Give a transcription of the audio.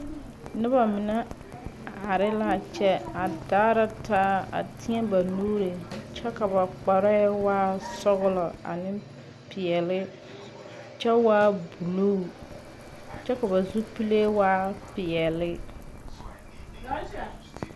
Nobo mene are la a kyɛ a daara taa a teɛ ba nuure kyɛ ka kpare waa sɔglɔ ane piɛle kyɛ waa buluu kyɛ ka ba zupuleɛ waa piɛle